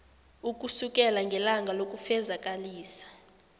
ukusukela ngelanga lokufezakalisa